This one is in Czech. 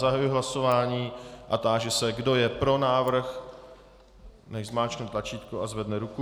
Zahajuji hlasování a táži se, kdo je pro návrh, nechť zmáčkne tlačítko a zvedne ruku.